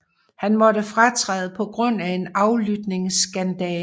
Han måtte fratræde på grund af en aflytningsskandale